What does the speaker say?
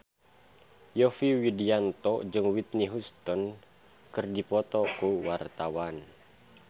Yovie Widianto jeung Whitney Houston keur dipoto ku wartawan